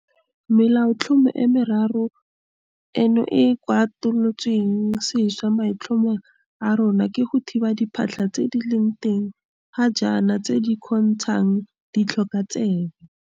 Melaotlhomo e meraro eno e e kwalolotsweng sešwa maitlhomo a rona ke go thiba diphatlha tse di leng teng ga jaana tse di kgontshang ditlhokatsebe.